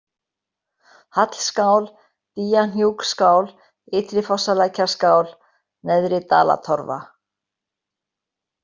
Hallskál, Dýjahnjúksskál, Ytri-Fosslækjarskál, Neðri-Dalatorfa